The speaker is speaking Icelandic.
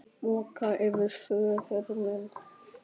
Moka yfir föður minn.